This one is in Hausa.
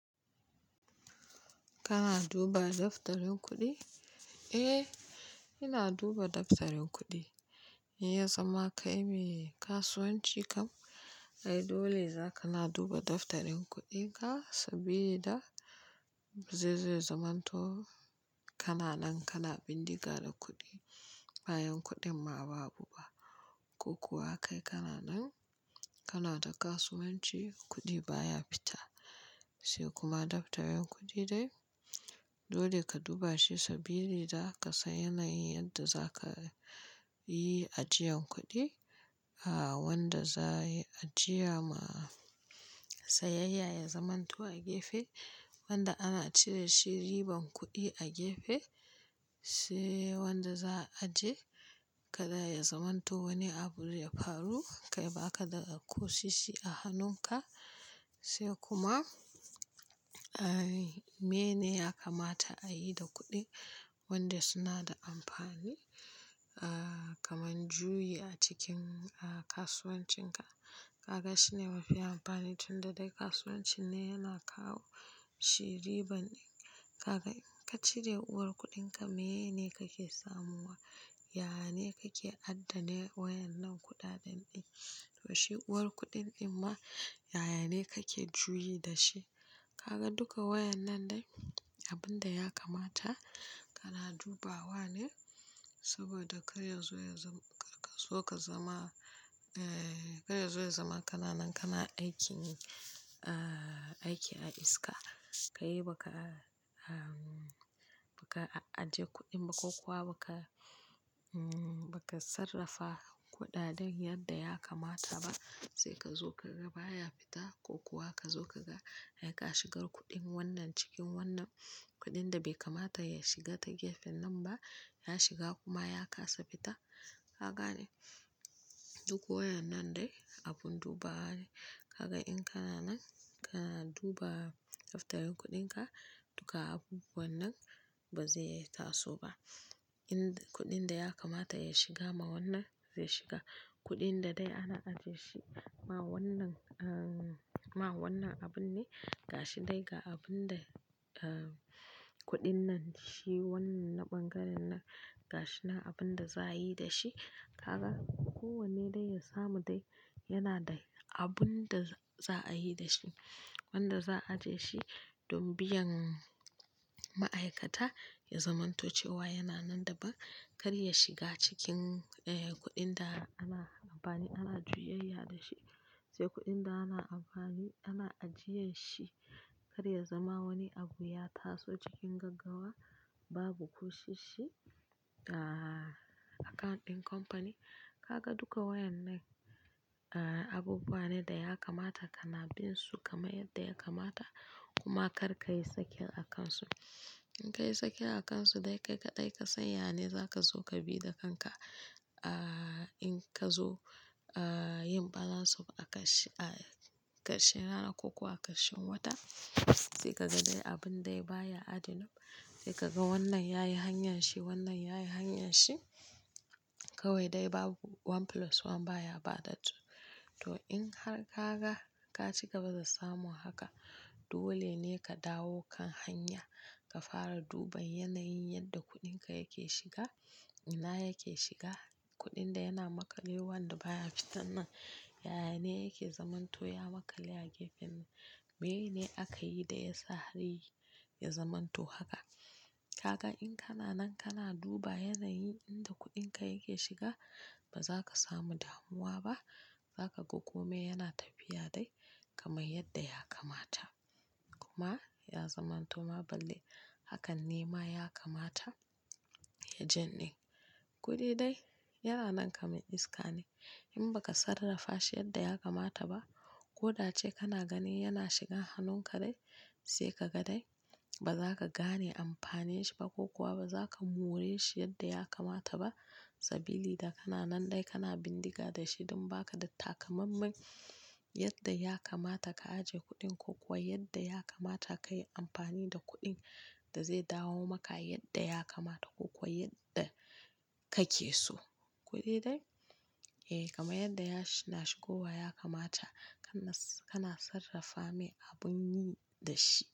Kana duba daftarin kuɗi? Eh, ina duba daftarin kuɗi. Ya zama kai mai kasuwanci kam. Ai dole za ka na duba daftarin kuɗin ka saboda zai zamanto kana nan kana bindiga da kuɗi, bayan kuɗin ma babu ba. Ko kuwa kai kana nan kana ta kasuwanci, kuɗi baya fita. Sai kuma daftarin kuɗi dai dole ka duba shi sabili da ka san yanayin yadda za ka yi ajiyan kuɗi. A wanda za ya ajiya ma sayayya ya zamanto a gefe. Wanda ana cire shi riban kuɗi a gefe, sai wanda za, a aje. Kada ya zamanto wani abu zai faru kai baka da ko sisi a hannunka. Sai kuma, meye ne ya kamata a yi da kuɗi wanda suna da amfani? A kaman juyi a cikin a kasuwancinka. Kaga shine mafi amfani tunda dai kasuwancin ne yana kawo ci riban. Kaga in ka cire uwar kuɗinka meye ne kake samuwa? Yaya ne kake addane waƴannan kuɗaɗen ɗin? To shi uwar kuɗin ɗin ma yaya ne kake juyi da shi. Kaga duka waƴan nan dai abun da ya kamata kana dubawa ne saboda kar yazo ya zama, kar ka zo ka zama, eh kar yazo ya zama kana nan kana aikin ne a, aiki a iska. Ka yi baka a, baka aje kuɗin ba ko kuwa baka, baka sarrafa kuɗaɗen yadda ya kamata ba. Sai ka zo kaga baya fita ko kuwa ka zo kaga ya ka shigar kuɗin wannan cikin wannan kuɗin da bai kamata ya shiga ta gefen nan ba, ya shiga kuma ya kasa fita. Ka gane duk waƴan nan dai abun duba wa ne. Kaga in kana nan kana duba daftarin kuɗinka, duka abubuwan nan ba zai yi taso ba. In kuɗin da ya kamata ya shiga ma wannan zai shiga. Kuɗin da dai ana ajje shi ma wannan, ma wannan abun ne. Ga shi dai ga abun da kuɗin nan shi wannan na ɓangaren nan. Ga shi nan abun da za a yi da shi. Kaga kowanne dai ya samu dai yana da abun da za'a yi da shi. Wanda za, a aje shi don biyan ma'aikata ya zamanto cewa yana nan da ban kar ya shiga cikin eh kuɗin da ana amfani, ana juyayya da shi. Sai kuɗin da ana amfani ana ajiyan shi kar ya zama wani abu ya taso cikin gaggawa babu kusoshi a account ɗin company. Kaga duka wayan nan abubuwa ne da ya kamata kana bin su kamar yadda ya kamata. Kuma kar ka yi sakin a kan su. In ka yi sake a kan su dai ka kaɗai ka san ya ne za ka zo ka bi da kanka. A in ka zo a yin balance of a ƙarshe, a ƙarshen rana ko kuwa ƙarshen wata. Sai ka ga dai abun dai baya adding up. Sai ka ga wannan yayi hanyar shi, wannan yayi hanyar shi. Kawai dai babu one plus one baya ba da two. To in har ka ga ka ciga gaba da samu haka, dole ne ka dawo kan hanya ka fara duban yanayin yadda kuɗinka yake shiga, ina yake shiga. Kuɗin da yana maƙale wanda baya fitan nan yaya ne yake zamanto ya maƙale a gefen nan. Meyene aka yi da ya sa har ya zamanto haka. Kaga in kana nan kana duba yanayin inda kuɗinka yake shiga ba za ka samu damuwa ba. Za ka ga komai yana tafiya dai kamar yadda ya kamata. Kuma ya zamanto ma balle hakan nema ya kamata ya jan ɗin. Kudai dai yana nan kamar iska ne. In baka sarrafa shi yadda ya kamata ba, ko da ace kana ganin yana shiga hannunka dai sai ka ga dai ba za ka gane amfanin shi ba ko kuwa ba za ka more shi yadda ya kamata ba. Sabili da kana nan dai kana bindiga da shi don ba ka da takamammen yadda ya kamata ka aje kuɗin ko kuwa yadda ya kamata ka yi amfani da kuɗin da zai dawo maka yadda ya kamata ko kuwa yadda kake so. Kodai dai eh kamar yadda yana shigowa ya kamata kana, kana sarrafa mai abun yi da shi.